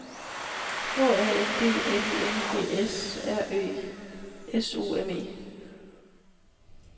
H A N D L I N G S R E S U M E